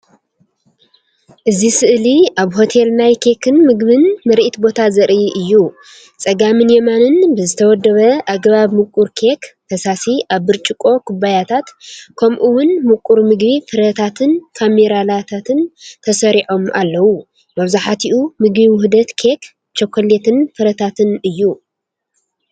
እዚ ስእሊ ኣብ ሆቴል ናይ ኬክን ምግብን ምርኢት ቦታ ዘርኢ እዩ። ጸጋምን የማንን ብዝተወደበ ኣገባብ ምቁር ኬክ፡ ፈሳሲ ኣብ ብርጭቆ ኩባያታት፡ ከምኡ’ውን ምቁር ምግቢ ፍረታትን ካራሜላታትን ተሰሪዖም ኣለዉ። መብዛሕትኡ ምግቢ ውህደት ኬክ፡ ቸኮሌትን ፍረታትን እዩ።